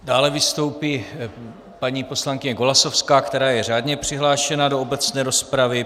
Dále vystoupí paní poslankyně Golasowská, která je řádně přihlášena do obecné rozpravy.